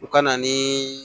U ka na ni